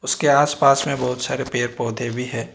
के आसपास में बहुत सारे पेड़ पौधे भी है।